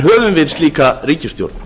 höfum við slíka ríkisstjórn